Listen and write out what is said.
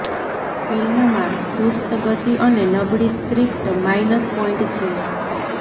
ફિલ્મમાં સુસ્ત ગતિ અને નબળી સ્ક્રીપ્ટ માઈનસ પોઈન્ટ છે